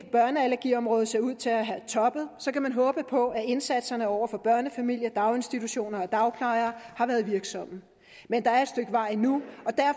børneallergiområdet ser ud til at have toppet kan man håbe på at indsatserne over for børnefamilier daginstitutioner og dagplejere har været virksomme men der er et stykke vej endnu